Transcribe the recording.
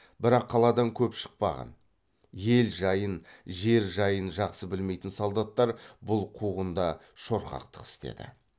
бірақ қаладан көп шықпаған ел жайын жер жайын жақсы білмейтін солдаттар бұл қуғында шорқақтық істеді